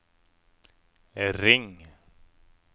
ring